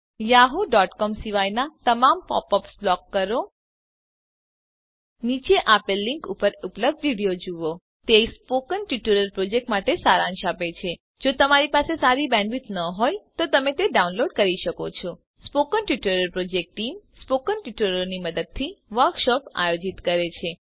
yahooસીઓએમ સિવાયનાં તમામ પોપ અપ્સને બ્લોક કરો નીચે આપેલ લીંક ઉપર ઉપલબ્ધ વિડિઓ જુઓ તે સ્પોકન ટ્યુટોરીયલ પ્રોજેક્ટ માટે સારાંશ આપે છે જો તમારી પાસે સારી બેન્ડવિડ્થ ન હોય તો તમે તે ડાઉનલોડ કરી જોઈ શકો છો spoken tutorial project team spoken ટ્યુટોરીયલોની મદદથી વર્કશોપ આયોજિત કરે છે